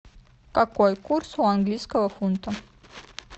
какой курс у английского фунта